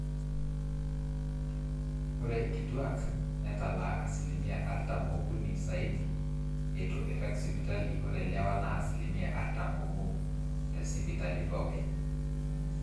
ore inkituaak netalaa asilimia artam ookuni saidi eitu eirag sipitali ore lewa naa asilimia artam oobo tesipitali pooki